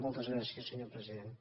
moltes gràcies senyor president